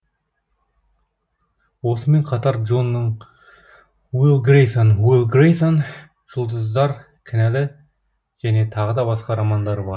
осымен қатар джонның уилл грейсон уилл грейсон жұлдыздар кінәлі және тағы да басқа романдары бар